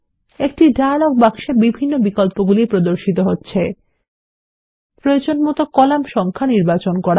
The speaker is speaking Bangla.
একটি ডায়লগ বাক্সে বিভিন্ন বিকল্পগুলি প্রদর্শিত হচ্ছে প্রয়োজনমত কলাম সংখ্যা নির্বাচন করা